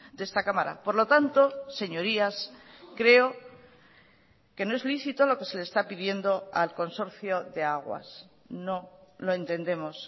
de esta cámara por lo tanto señorías creo que no es lícito lo que se le está pidiendo al consorcio de aguas no lo entendemos